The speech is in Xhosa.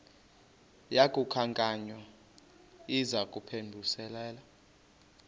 yaku khankanya izaphuselana